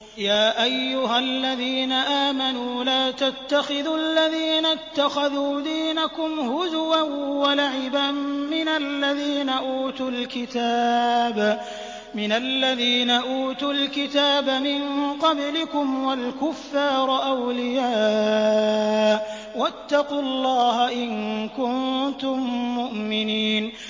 يَا أَيُّهَا الَّذِينَ آمَنُوا لَا تَتَّخِذُوا الَّذِينَ اتَّخَذُوا دِينَكُمْ هُزُوًا وَلَعِبًا مِّنَ الَّذِينَ أُوتُوا الْكِتَابَ مِن قَبْلِكُمْ وَالْكُفَّارَ أَوْلِيَاءَ ۚ وَاتَّقُوا اللَّهَ إِن كُنتُم مُّؤْمِنِينَ